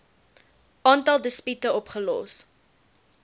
aantal dispute opgelos